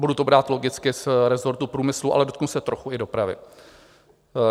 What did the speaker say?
Budu to brát logicky z resortu průmyslu, ale dotknu se trochu i dopravy.